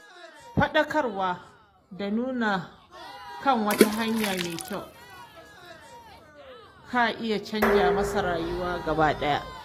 Faɗakar da wani kan wata hanya mai kyau ka iya canja masa rayuwa gaba ɗaya.